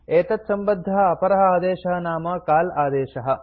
एतत्सम्बद्धः अपरः आदेशः नाम काल आदेशः